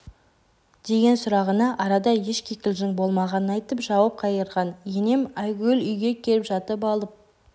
деген сұрағына арада еш кикілжің болмағанын айтып жауап қайырған енем айгүл үйге келіп жатып алып